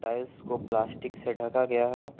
Tiles को plastic से ढका गया है।